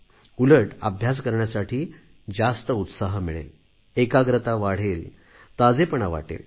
उलट अभ्यास करण्यासाठी जास्त उत्साह मिळेल एकाग्रता वाढेल ताजेपणा वाटेल